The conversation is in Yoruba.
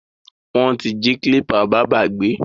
Wọ́n ti jí kílípà bábá gbé.